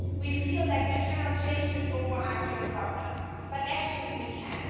We feel like we cannot change this overarching problem, but actually, we can.